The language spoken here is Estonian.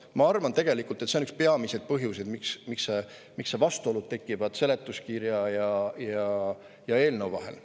Ma arvan, et tegelikult on see üks peamisi põhjuseid, miks tekivad vastuolud seletuskirja ja eelnõu vahel.